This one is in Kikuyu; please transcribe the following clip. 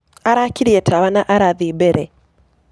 Arakĩrĩe tawa na arathĩe bere.